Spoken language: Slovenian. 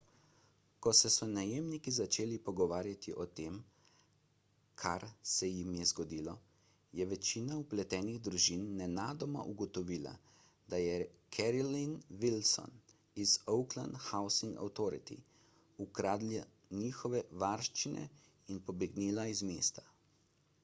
ko so se najemniki začeli pogovarjati o tem kar se jim je zgodilo je večina vpletenih družin nenadoma ugotovila da je carolyn wilson iz oakland housing authority ukradla njihove varščine in pobegnila iz mesta